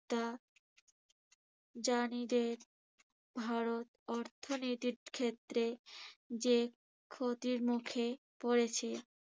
তা যা নিজের ভারত অর্থনীতির ক্ষেত্রে যে ক্ষতির মুখে পড়েছে